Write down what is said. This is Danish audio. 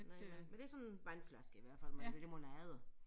Men men det sådan vandflasker i hvert fald med limonade